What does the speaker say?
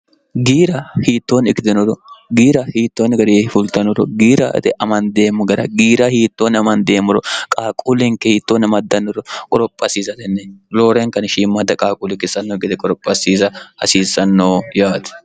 giira hiittoonni ikidinoro giira hiittoonni garee fultanoro giira ete amandeemmo gara giira hiittoonni amandeemmoro qaaquullenke hiittoonni amaddannoro qorophaasiizatenne looreenkani shiimmadda qaaquuli ikisanno gede qorophaasiiza hasiissannoo yaati